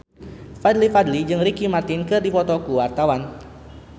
Fadly Padi jeung Ricky Martin keur dipoto ku wartawan